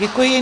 Děkuji.